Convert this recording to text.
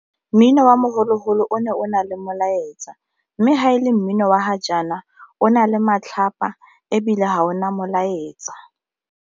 Mmino wa mogolo-golo o ne o na le molaetsa mme fa e le mmino wa ga jaana o na le matlhapa ebile ga o na molaetsa.